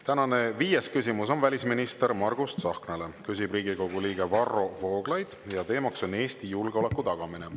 Tänane viies küsimus on välisminister Margus Tsahknale, küsib Riigikogu liige Varro Vooglaid ja teema on Eesti julgeoleku tagamine.